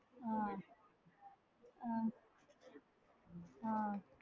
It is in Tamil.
ஆஹ்